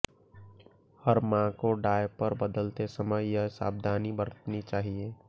हर मां को डायपर बदलते समय ये सावधानी बरतनी चाहिए